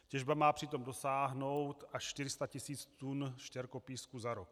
Těžba má přitom dosáhnout až 400 tis. tun štěrkopísku za rok.